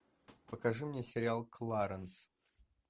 покажи мне сериал кларенс